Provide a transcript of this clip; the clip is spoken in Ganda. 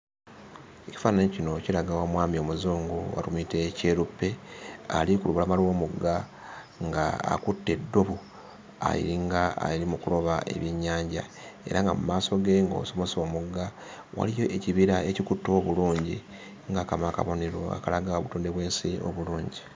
Ekifaananyi kino kiraga omwami omuzungu oba tumuyite kyeruppe, ali ku lubalama lw'omugga ng'akutte eddobo alinga ali mu kuloba ebyennyanja. Era nga mu maaso ge ng'osomose omugga, waliyo ekibira ekikutte obulungi ng'akamu akabonero akalaga obutonde bw'ensi obulungi.